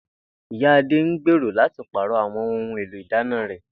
Ìyá Adé ń gbèrò láti pàrò̩ àwo̩n ohun èlò ìdáná rè̩